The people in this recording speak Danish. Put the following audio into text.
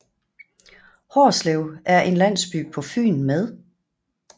Hårslev er en landsby på Fyn med